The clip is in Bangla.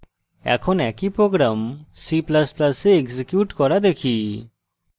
এখন একই program c ++ এ execute করা দেখি